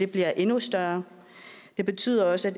bliver endnu større det betyder også